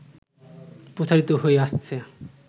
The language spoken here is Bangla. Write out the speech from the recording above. প্রচারিত হয়ে আসছে